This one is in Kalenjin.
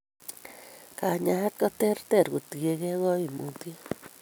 Kanyaet kotereter kotienge ka koimutiet